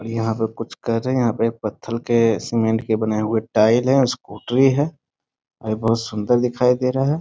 यहां पर कुछ कर रहे हैं यहां पर पत्थर के सीमेंट के बने हुए टाइल्स है स्कूटी है अभी बहुत सुंदर दिखाई दे रहा है।